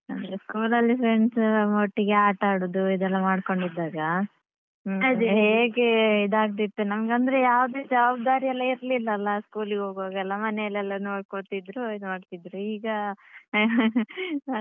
ಅಂದ್ರೆ school ಅಲ್ಲಿ friends ಒಟ್ಟಿಗೆ ಆಟಾಡುದು ಇದೆಲ್ಲ ಮಾಡ್ಕೊಂಡು ಇದ್ದಾಗ ಹ್ಮ್ ಹೇಗೆ ಇದಾಗ್ತಿತ್ತು ನಮ್ಗಂದ್ರೆ ಯಾವುದೇ ಜವಾಬ್ದಾರಿ ಎಲ್ಲ ಇರ್ಲಿಲ್ಲ ಅಲ್ಲ school ಗೆ ಹೋಗುವಾಗೆಲ್ಲಾ ಮನೆಲೆಲ್ಲ ನೋಡ್ಕೊತ್ತಿದ್ರು ಇದು ಮಾಡ್ತಿದ್ರು ಈಗ ಅಂದ್ರೆ.